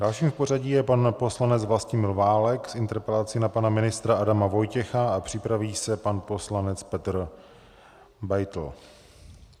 Dalším v pořadí je pan poslanec Vlastimil Válek s interpelací na pana ministra Adama Vojtěcha a připraví se pan poslanec Petr Beitl.